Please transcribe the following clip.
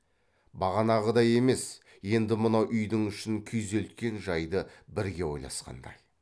бағанағыдай емес енді мынау үйдің ішін күйзелткен жайды бірге ойласқандай